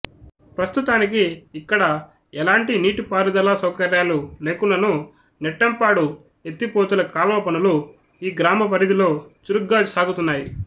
ప్రస్తుతానికి ఇక్కడ ఎలాంటి నీటిపారుదల సౌకర్యాలు లేకున్ననూ నెట్టంపాడు ఎత్తిపోతుల కాల్వ పనులు ఈ గ్రామ పరిధిలో చురుగ్గా సాగుతున్నాయి